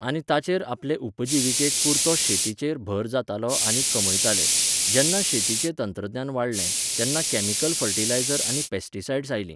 आनी ताचेर आपले उपजिविके पुरतो शेतीचेर भर जातालो आनी कमयताले. जेन्ना शेतीचें तंत्रज्ञान वाडलें, तेन्ना कॅमिकल फर्टिलायझर आनी पॅस्टिसायड़्स आयलीं.